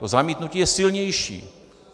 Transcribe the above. To zamítnutí je silnější.